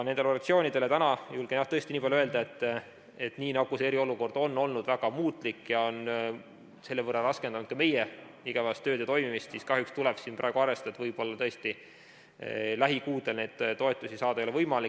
Nendele organisatsioonidele julgen täna jah tõesti niipalju öelda, et nagu see eriolukord on olnud väga muutlik ja on selle võrra raskendanud ka meie igapäevast tööd ja toimimist, siis kahjuks tuleb praegu arvestada, et võib-olla tõesti lähikuudel neid toetusi saada ei ole võimalik.